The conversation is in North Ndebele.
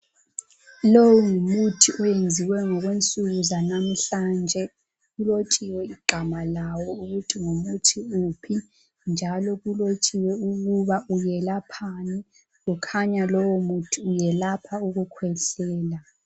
Longumuthi owenziwe ngokwensuku zanamuhla nje ulotshiwe igama lawo ukuthi ngumuthi uphi njalo kulotshiwe ukuthi welaphani ukhanya lowo muthi uyelapha ukukhwehlela